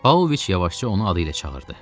Pavloviç yavaşca onu adı ilə çağırdı.